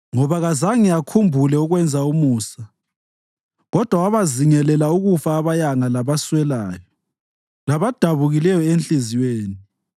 Ngoba kazange akhumbule ukwenza umusa kodwa wabazingelela ukufa abayanga labaswelayo labadabukileyo enhliziyweni.